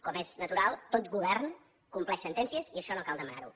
com és natural tot govern compleix sentències i això no cal demanar ho